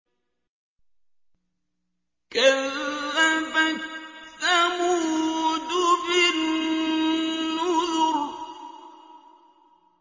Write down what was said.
كَذَّبَتْ ثَمُودُ بِالنُّذُرِ